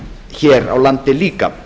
hér á landi líka